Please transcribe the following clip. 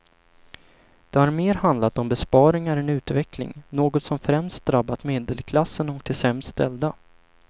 Det har mer handlat om besparingar än utveckling, något som främst drabbat medelklassen och de sämst ställda.